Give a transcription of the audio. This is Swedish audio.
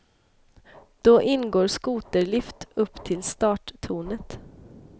Då ingår skoterlift upp till starttornet.